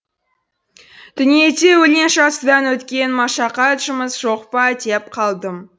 дүниеде өлең жазудан өткен машақат жұмыс жоқ па деп қалдым